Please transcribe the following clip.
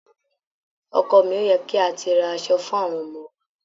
Ọkọ mi, ó yẹ kí a ti ra aṣọ fún àwọn ọmọ wa.